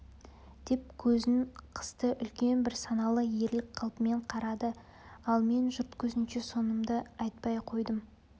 деп көзін қысты үлкен бір саналы ерлік қалпымен қарады ал мен жұрт көзінше сонымды айтпай қойдым